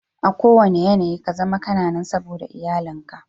A kuwanna yanayi kazama kana nan saboda iyalin ka.